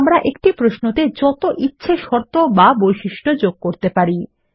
তাহলে আমরা একটি প্রশ্নতে যত ইছে শর্ত বা বৈশিষ্ট্য যোগ করতে পারি